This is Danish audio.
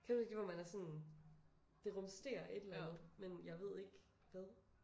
Kender du ikke det hvor man er sådan det rumsterer et eller andet men jeg eed ikke hvad